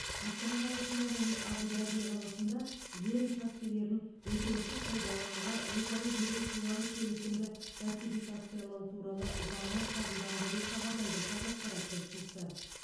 астана қаласында және әбу даби қаласында жер учаскелерін өтеусіз пайдалануға өзара беру туралы келісімді ратификациялау туралы заңы қабылданды деп хабарлайды қазақпарат тілшісі